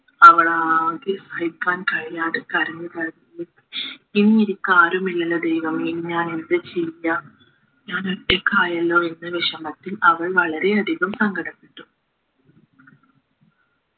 അവളാകെ സഹിക്കാൻ കഴിയാതെ കരഞ്ഞു കരഞ്ഞു ഇനിയെനിക്ക് ആരുമില്ലലോ ദൈവമേ ഇനി ഞാൻ എന്താ ചെയ്യാ ഞാൻ ഒറ്റക്കായല്ലോ എന്ന വിഷമത്തിൽ അവൾ വളരെയധികം സങ്കടപ്പെട്ടു